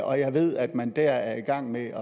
og jeg ved at man der er i gang med